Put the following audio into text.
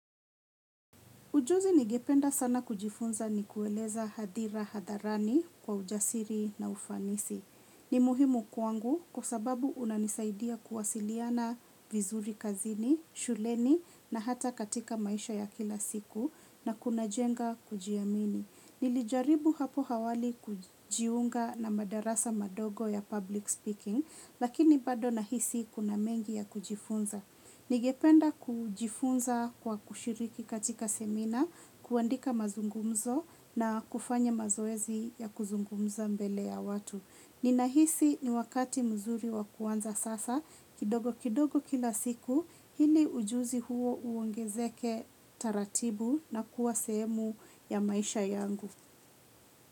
Ujuzi ningependa sana kujifunza ni kueleza hadhira hadharani kwa ujasiri na ufanisi. Ni muhimu kwangu kwa sababu unanisaidia kuwasiliana vizuri kazini, shuleni na hata katika maisha ya kila siku na kunajenga kujiamini. Nilijaribu hapo awali kujiunga na madarasa madogo ya public speaking lakini bado nahisi kuna mengi ya kujifunza. Ningependa kujifunza kwa kushiriki katika semina, kuandika mazungumzo na kufanya mazoezi ya kuzungumza mbele ya watu. Ninahisi ni wakati mzuri wa kuanza sasa, kidogo kidogo kila siku, ili ujuzi huo uongezeke taratibu na kuwa semu ya maisha yangu.